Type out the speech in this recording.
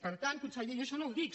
per tant conseller jo això no ho dic